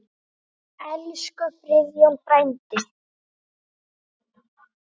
Ég hef ekki hætt síðan.